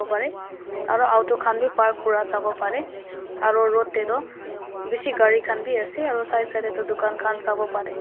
aro auto khan b park kura sabo pare aro road de toh bishi gari khan b ase aro side side de toh dukaan khan toh sabo pare.